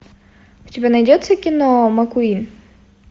у тебя найдется кино маккуин